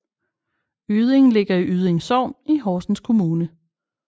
Yding ligger i Yding Sogn i Horsens Kommune